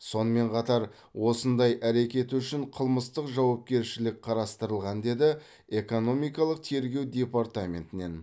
сонымен қатар осындай әрекет үшін қылмыстық жауапкершілік қарастырылған деді экономикалық тергеу департаментінен